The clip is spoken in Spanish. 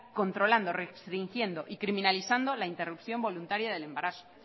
controlando restringiendo y criminalizando la interrupción voluntaria del embarazo